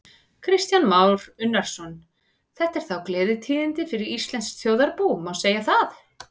Kristján Már Unnarsson: Þetta eru þá gleðitíðindi fyrir íslenskt þjóðarbú, má segja það?